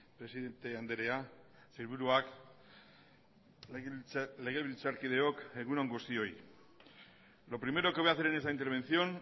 presidente andrea sailburuak legebiltzarkideok egun on guztioi lo primero que voy a hacer en esta intervención